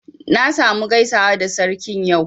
Na sa mu gaisawa da Sarkin yau